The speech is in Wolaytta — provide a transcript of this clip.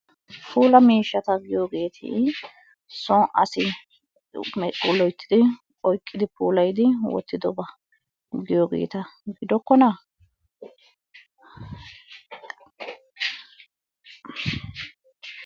Puulla miishshata giyogeeti soon asi medhi loyttidi oyqqidi puulayidi woottiddoba giyogeeta giddokkona?